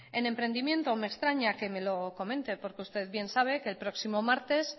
en emprendimiento me extraña que me lo comente porque usted bien sabe que el próximo martes